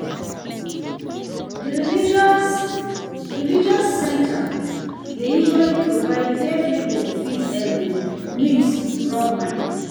Di religious religious centers dey usually provide where pipo fit um meet rub mind